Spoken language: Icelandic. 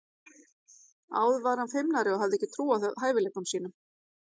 Áður var hann feimnari og hafði ekki þessa trú á hæfileikum sínum.